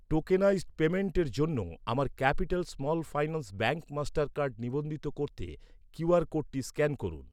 Tokenised পেইমেন্টের জন্য আমার Capital Small Finance Bank Mastercard নিবন্ধিত করতে কিউআর কোডটি স্ক্যান করুন।